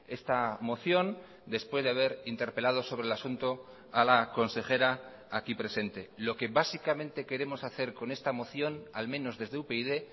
esta moción después de haber interpelado sobre el asunto a la consejera aquí presente lo que básicamente queremos hacer con esta moción al menos desde upyd